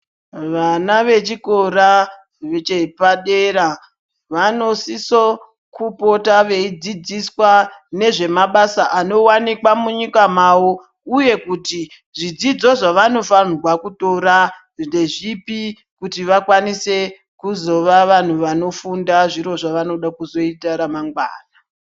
Vana vechikora chepadera vanosiso kupota veidzidziswa nezvemabasa anowanikwa munyika mavo. Uye kuti zvidzidzo zvavanofanirwa kutora ndezvipi kuti vakwanise kuzova vantu vanofunda zviro zvavanoda kuzoita ramangwana.